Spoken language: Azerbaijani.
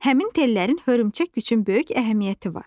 Həmin tellərin hörümçək üçün böyük əhəmiyyəti var.